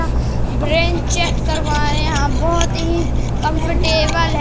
Bench यहां बहुत ही कंफर्टेबल है।